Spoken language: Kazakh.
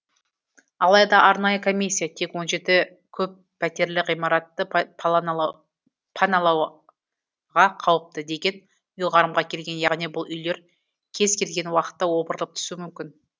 алайда арнайы комиссия тек он жеті көппәтерлі ғимаратты паналауға қауіпті деген ұйғарымға келген яғни бұл үйлер кез келген уақытта опырылып түсуі мүмкін